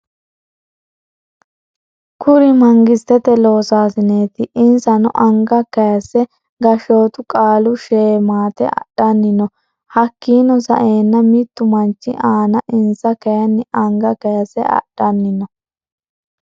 Kurri mangisitete loosasineti isano anga kayiise gashootu qaalu sheemate adhani no hakiino sa'eena mittu manchi aana insa kayiini anga kayiise adhani no.